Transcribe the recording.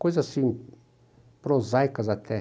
Coisas assim, prosaicas até.